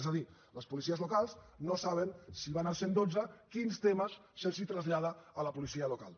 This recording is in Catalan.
és a dir les policies locals no saben si van al cent i dotze quins temes es traslladen a la policia local